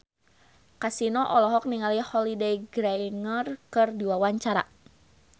Kasino olohok ningali Holliday Grainger keur diwawancara